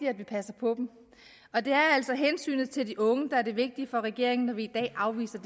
at vi passer på dem og det er altså hensynet til de unge der er det vigtige for regeringen når vi i dag afviser